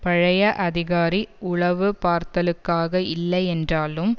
பழைய அதிகாரி உளவுபார்த்தலுக்காக இல்லையென்றாலும்